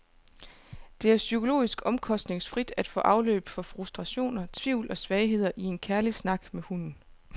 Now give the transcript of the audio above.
Det er psykologisk omkostningsfrit at få afløb for frustrationer, tvivl og svagheder i en kærlig snak med hunden.